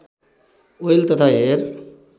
oil तथा hair